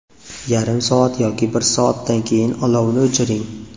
Yarim soat yoki bir soatdan keyin olovni o‘chiring.